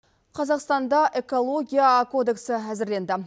қазақстанда экология кодексі әзірленді